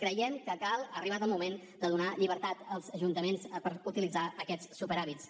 creiem que cal que ha arribat el moment de donar llibertat als ajuntaments per utilitzar aquests superàvits